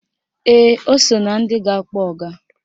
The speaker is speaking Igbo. Ee, o so na ndị ga-akpọ ọga